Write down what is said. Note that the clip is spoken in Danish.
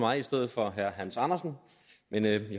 mig i stedet for herre hans andersen men jeg